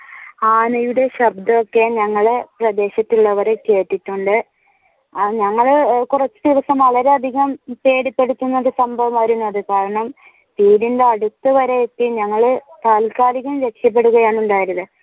ആനയുടെ ശബ്‍ദം ഒക്കെ ഞങ്ങൾ പ്രദേശത്തിൽ ഉള്ളവർ കേട്ടിട്ടുണ്ട് ഞങ്ങൾ കുറച്ചു ദിവസം വളരെ അധികം പേടിപ്പെടുത്തുന്ന ഒരു സംഭവമായിരുന്നു. അത് കാരണം വീടിന്റെ അടുത്ത് വരെ എത്തി ഞങ്ങൾ താൽക്കാലികം രക്ഷപെടുകയാണുണ്ടായത്